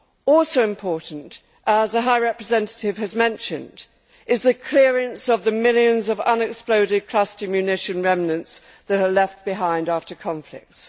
Also important, as the High Representative has mentioned, is the clearance of the millions of unexploded cluster munition remnants that are left behind after conflicts.